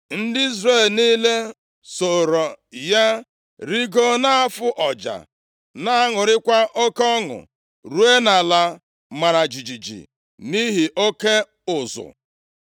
Ndị Izrel niile sooro ya rigoo, na-afụ ọja na-aṅụrịkwa oke ọnụ, ruo nʼala mara jijiji nʼihi oke ụzụ.